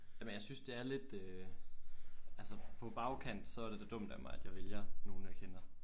Ja men jeg synes det er lidt øh